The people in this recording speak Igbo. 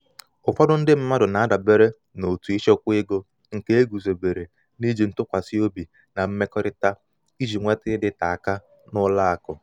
ụfọdụ mmadụ na-adabere n’òtù ịchekwa ego nke e guzobere n’iji ntụkwasị obi na mmekọrịta iji nweta ịdịte aka n’ụlọ akụ.